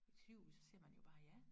Sygehuset så siger man jo bare ja